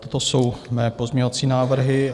Toto jsou mé pozměňovací návrhy.